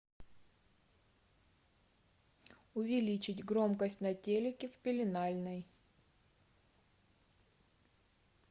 увеличить громкость на телике в пеленальной